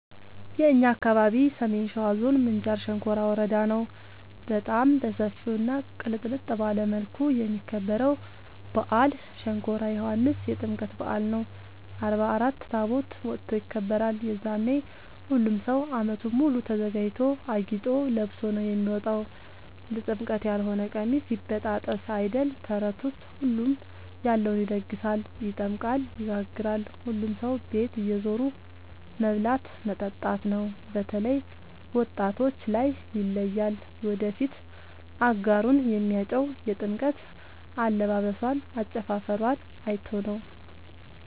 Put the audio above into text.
የእኛ አካባቢ ሰሜን ሸዋ ዞን ምንጃር ሸንኮራ ወረዳ ነው። በጣም በሰፊው እና ቅልጥልጥ ባለ መልኩ የሚከበረው በአል ሸንኮራ ዮኋንስ የጥምቀት በአል ነው። አርባ አራት ታቦት ወጥቶ ይከብራል። የዛኔ ሁሉም ሰው አመቱን ሙሉ ተዘጋጅቶ አጊጦ ለብሶ ነው የሚወጣው ለጥምቀት ያሎነ ቀሚስ ይበጣጠስ አይደል ተረቱስ ሁሉም ያለውን ይደግሳል። ይጠምቃል ይጋግራል ሁሉም ሰው ቤት እየዞሩ መብላት መጠጣት ነው። በተላይ ወጣቶች ላይ ይለያል። የወደፊት አጋሩን የሚያጨው የጥምቀት አለባበሶን አጨፉፈሯን አይቶ ነው።